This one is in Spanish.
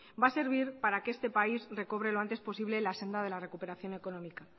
va a servir para que este país recobre lo antes posible la senda de la recuperación económica